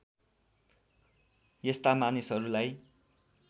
यस्ता मानिसहरूलाई